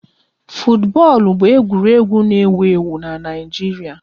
Futubọọlụ bụ egwuregwu n'ewu ewu n'Naijiria